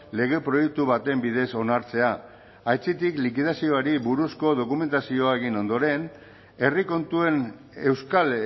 lege proiektu baten bidez onartzea aitzitik likidazioari buruzko dokumentazioa egin ondoren herri kontuen euskal